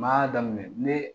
Ma y'a daminɛ ne